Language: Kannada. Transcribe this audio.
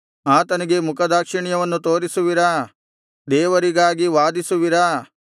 ಆತನಿಗೆ ಮುಖದಾಕ್ಷಿಣ್ಯವನ್ನು ತೋರಿಸುವಿರಾ ದೇವರಿಗಾಗಿ ವಾದಿಸುವಿರಾ